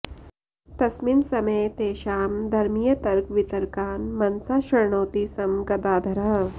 तस्मिन् समये तेषां धर्मीयतर्कवितर्कान् मनसा शृणोति स्म गदाधरः